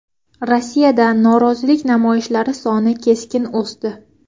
Rossiyada norozilik namoyishlari soni keskin o‘sdi.